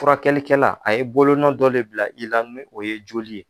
Furakɛlikɛla a ye bolonɔ dɔ de bila i la, n'o ye joli ye